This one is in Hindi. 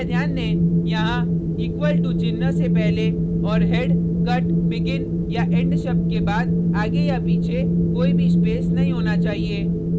कृपया ध्यान दें यहाँ = to चिन्ह से पहले और head cut begin या end शब्द के बाद आगे या पीछे कोई भी स्पेस नहीं होना चाहिए